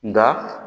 Nka